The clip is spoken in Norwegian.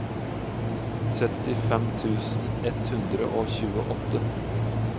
syttifem tusen ett hundre og tjueåtte